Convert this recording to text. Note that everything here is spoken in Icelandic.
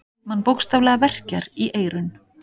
Mann bókstaflega verkjar í eyrun.